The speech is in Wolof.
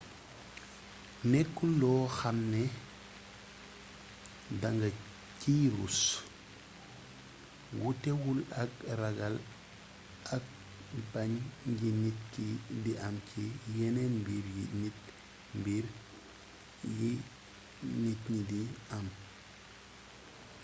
nekkul loo xam ne da nga ciy russ wutewul ak ragal ak mbàñ yi nit ki di am ci yeneen mbir yi nit mbir yi nit ñi di am